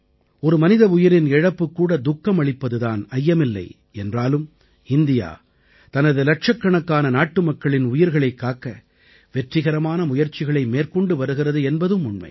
ஒரு மனித உயிரின் இழப்புக்கூட துக்கமளிப்பது தான் ஐயமில்லை என்றாலும் இந்தியா தனது இலட்சக்கணக்கான நாட்டு மக்களின் உயிர்களைக் காக்க வெற்றிகரமான முயற்சிகளை மேற்கொண்டு வருகிறது என்பதும் உண்மை